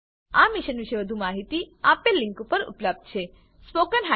આ મીશન પર વધુ માહિતી આપેલ લીંક પર ઉપલબ્ધ છે httpspoken tutorialorgNMEICT Intro